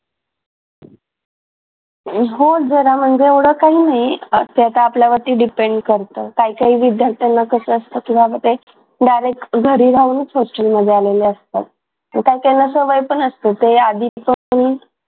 हो जरा म्हणजे एवढं काही नाही असते तर आता आपल्यावरती depend करत काय काय विद्यार्थ्यांना कस असतं किंवा मग ते direct घरी राहूनच हॉस्टेल मध्ये आलेले असतात. काही काहीना सवय पण असते ते आधीचे